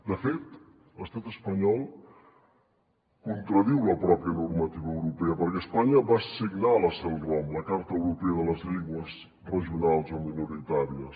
de fet l’estat espanyol contradiu la pròpia normativa europea perquè espanya va signar la celrom la carta europea de les llengües regionals o minoritàries